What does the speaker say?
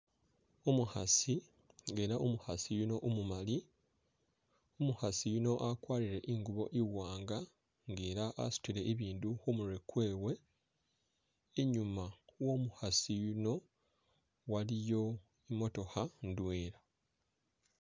Umukhasi nga ela umukhasi yuno umumali umukhasi yuni agwarile ingubo iwanga nga ela asudile biindu khumurwe gwewe inyuma womukhasi yuno waliyo imootokha indwela.